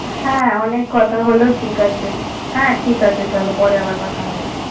হ্যাঁ অনেক কথা হলো ঠিক আছে। হ্যাঁ ঠিক আছে চলো পরে আবার কথা হবে।